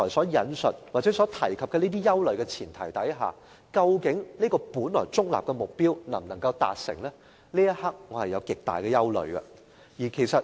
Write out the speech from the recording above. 然而，在我剛才提及的憂慮存在的情況下，這個本來中立的目標究竟能否達成，我有極大的疑問。